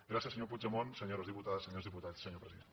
gràcies senyor puigdemont senyores diputades senyors diputats senyor president